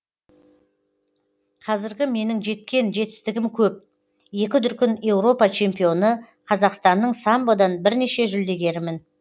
қазіргі менің жеткен жетістігім көп екі дүркін еуропа чемпионы қазақстанның самбодан бірнеше жүлдегерімін